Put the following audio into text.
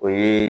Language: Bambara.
O ye